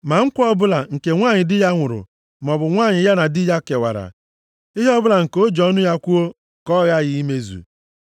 “Ma nkwa ọbụla nke nwanyị di ya nwụrụ maọbụ nwanyị ya na di ya kewara, ihe ọbụla nke o ji ọnụ ya kwuo ka ọ ghaghị imezu.